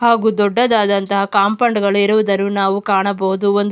ಹಾಗು ದೊಡ್ಡದಾದಂಥ ಕಾಂಪೌಂಡ್ ಗಳು ಗಳು ಇರುವುದನ್ನು ನಾವು ಕಾಣಬಹುದು ಒಂದು --